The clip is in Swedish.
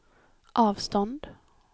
avstånd